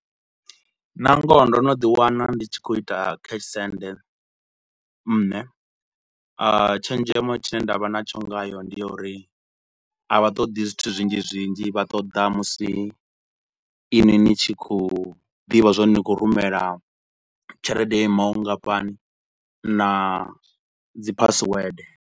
Nangoho ndo no ḓi wana ndi tshi khou ita cash send, nne tshenzhemo tshine nda vha na tsho ngayo ndi ya uri a vha ṱoḓi zwithu zwinzhi zwinzhi vha ṱoḓa musi inwi ni tshi khou ḓivha zwa uri ni khou rumela tshelede yo imaho vhungafhani na dzi password.